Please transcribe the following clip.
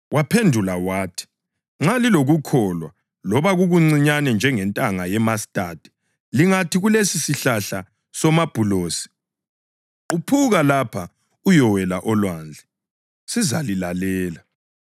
Waphendula wathi, “Nxa lilokukholwa loba kukuncinyane njengentanga yemastadi, lingathi kulesisihlahla somabhulosi, ‘Quphuka lapha uyowela olwandle,’ sizalilalela.